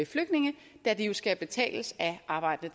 flygtninge da de jo skal betales af arbejdende